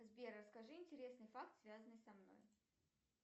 сбер расскажи интересный факт связанный со мной